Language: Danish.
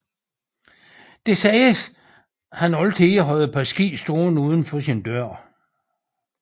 Det siges at han altid havde et par ski stående uden for sin dør